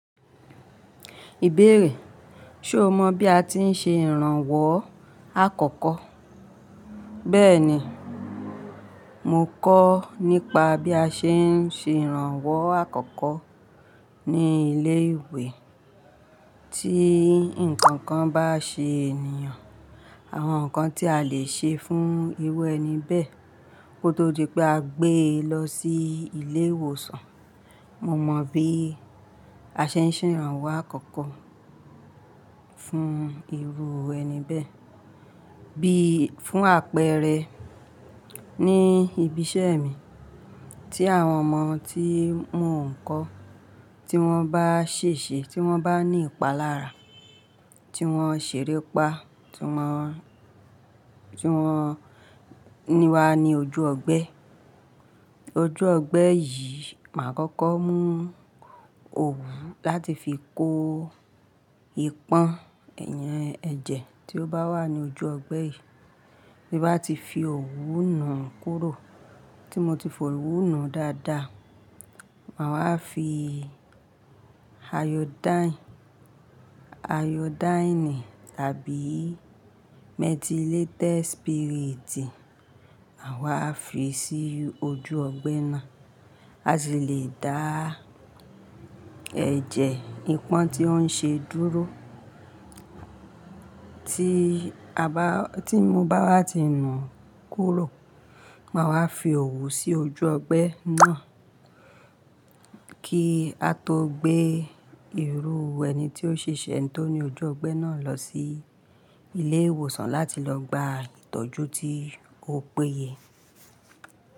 Ìbéèrè: Ṣé o mọ̀ bí a ti ń ṣe ìrànwọ́ àkọ́kọ́? Bẹ́ẹ̀ni, mo kọ́ nípa bí a ṣe ń ṣe ìrànwọ́ àkọ́kọ́ ní ilé ìwé. Tí ǹkan kan bá ṣe ènìyàn, àwọn ǹkan tí a lè ṣe fún irú ẹni bẹ́ẹ̀, ó tó di pé a gbé e lọ sí ilé ìwòsàn. Mo mọ bí a ṣe ń ṣe ìrànwọ́ àkọ́kọ́ fún irú ẹni bẹ́ẹ̀, bí fún àpẹẹrẹ, ní ibi iṣẹ́ mi tí àwọn ọmọ tí mò ń kọ́, tí wọ́n bá ṣèṣe, tí wọ́n bá ní ìpalára, tí wọ́n ṣèrè pa, tí wọ́n, tí wọ́n níwa ní ojú ọgbẹ́. Ojú ọgbẹ́ yìí, máa kọ́kọ́ mú òwú láti fi kó ipọ́n eyen ẹ̀jẹ̀ tí ó bá wà ní ojú ọgbẹ́ yìí. Ti n bá ti fi òwú nu kúrò, tí mo ti fi òwú nù dáadáa, màá wá fi ayodáìnì, ayodáìnì tàbí metilated spirit, màá wá fi sí ojú ọgbẹ́ náà, a sì lè dá ẹjẹ ìpọ́n tí ó ń ṣe dúró. Tí a bá, tí mo bá wá ti nù kúrò, màá wá fi òwú sí ojú ọgbẹ́ náà, kí a tó gbé irú ẹni tí ó ṣèṣe, ẹni tí ó ní ojú ọgbẹ́ náà lọ sí ilé ìwòsàn láti lọ gba ìtọ́jú tí ó péye.